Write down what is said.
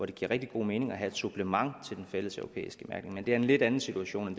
det giver rigtig god mening at have som supplement til den fælleseuropæiske mærkning men det er en lidt anden situation